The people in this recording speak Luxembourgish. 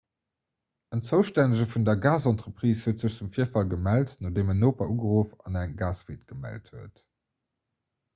en zoustännege vun der gasentreprise huet sech zum virfall gemellt nodeem en noper ugeruff an eng gasfuite gemellt huet